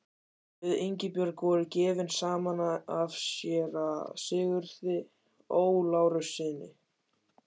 Við Ingibjörg voru gefin saman af séra Sigurði Ó. Lárussyni.